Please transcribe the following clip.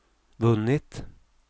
vunnit